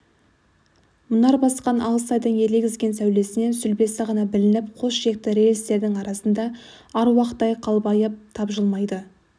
мұнар басқан алыс айдың елегізген сәулесінен сүлбесі ғана білініп қос шекті рельстердің арасында аруақтай қалбайып тапжылмайды